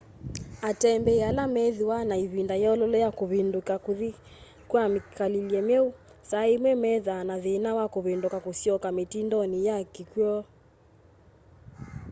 atembeĩ ala meethĩĩwe na ĩvĩnda yololo ya kũvĩndũka kũthĩ ka mĩkalĩle myeũ saa ĩmwe methaa na thĩna wakũvĩndũka kũsyoka mĩtĩndonĩ ya kĩkwoo